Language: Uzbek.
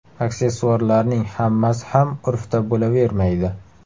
Aksessuarlarning hammasi ham urfda bo‘lavermaydi.